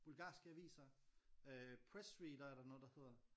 Bulgarske aviser øh Pressreader er der noget der hedder